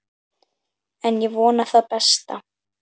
En ég vona það besta.